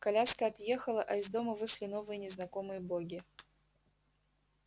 коляска отъехала а из дому вышли новые незнакомые боги